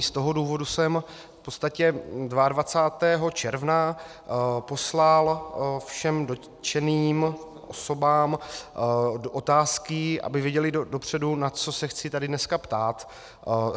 I z toho důvodu jsem v podstatě 22. června poslal všem dotčeným osobám otázky, aby věděly dopředu, na co se chci tady dneska ptát.